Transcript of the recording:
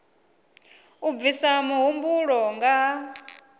u bvisa mihumbulo nga ha